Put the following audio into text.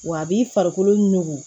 Wa a b'i farikolo nugu